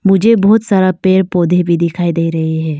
मुझे बहोत सारा पेड़ पौधे भी दिखाई दे रहे हैं।